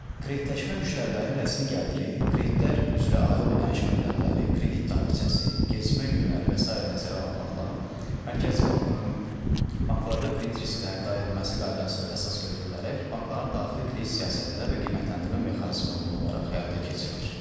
Kreditləşmə müştərilərin rəsmi gəliri, kreditlər üzrə aylıq ödəniş məbləğləri, kredit tarixçəsi, gecikmə günləri və sairə nəzərə alınmaqla Mərkəzi Bankın banklarda kredit risklərinin idarə edilməsi qaydası əsas götürülərək bankların daxili kredit siyasətinə və qiymətləndirmə mexanizminə uyğun olaraq həyata keçirilir.